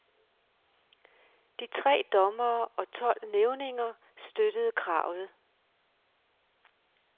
De tre dommere og tolv nævninger støttede kravet.